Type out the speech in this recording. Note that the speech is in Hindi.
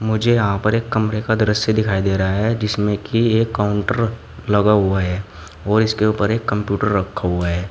मुझे यहां पर एक कमरे का दृश्य दिखाई दे रहा है जिसमे की एक काउंटर लगा हुआ है और उसके ऊपर एक कम्प्यूटर रखा हुआ है।